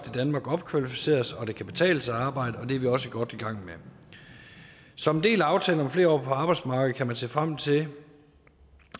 i danmark opkvalificeres og at det kan betale sig at arbejde og det er vi også godt i gang med som en del af aftalen om flere år på arbejdsmarkedet kan man se frem til